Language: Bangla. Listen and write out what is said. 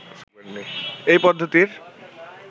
এই পদ্ধতির